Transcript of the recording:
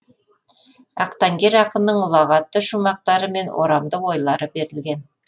ақтаңгер ақынның ұлағатты шумақтары мен орамды ойлары берілген